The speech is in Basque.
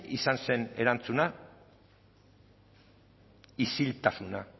izan zen erantzuna isiltasuna